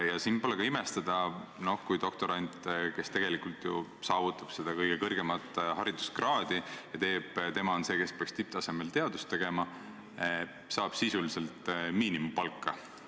Ja pole ka imestada: doktorant, kes tegelikult taotleb kõige kõrgemat hariduskraadi ja kes peaks tipptasemel teadust tegema, saab sisuliselt miinimumpalka.